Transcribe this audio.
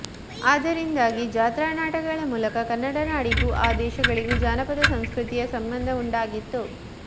ಅದರಿಂದಾಗಿ ಜತ್ರಾ ನಾಟಕಗಳ ಮೂಲಕ ಕನ್ನಡ ನಾಡಿಗೂ ಆ ದೇಶಗಳಿಗೂ ಜಾನಪದಸಂಸ್ಕೃತಿಯ ಸಂಬಂಧವುಂಟಾಗಿತ್ತು